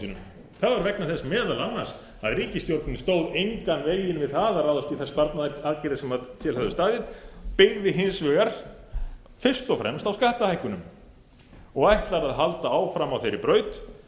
sínum það var vegna þess meðal annars að ríkisstjórnin stóð engan veginn við það að ráðast í þær sparnaðaraðgerðir sem til höfðu staðið byggði hins vegar fyrst og fremst á skattahækkunum og ætlar að halda áfram á þeirri braut